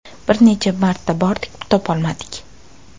Bir necha marta bordik, topolmadik.